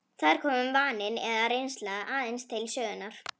Þar komi vaninn eða reynslan aðeins til sögunnar.